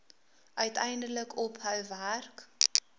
uiteindelik ophou werk